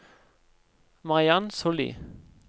Mariann Sollie